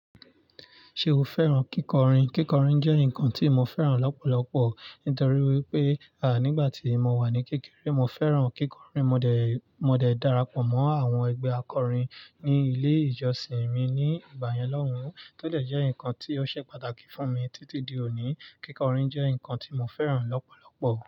Ṣé o fẹ́ràn kíkọrin? Kíkọrin jẹ́ nǹkan tí mo fẹ́ràn lọ́pọ̀lọpọ̀ nítorí wípé, nígbà tí mo wà ní kékeré mo fẹ́ràn kíkọrin. Mo de, mo de darapọ̀ mọ́ àwọn ẹgbẹ́ akọrin ní ilé ìjọsìn mi ní ìgbà yẹn lọ́hùn-ún. Tó dẹ̀ jẹ́ nǹkan tí ó ṣẹ́ pàtàkì fún mi títí di òní. Kíkọrin jẹ́ nǹkan tí mo fẹ́ràn lọ́pọ̀lọpọ̀.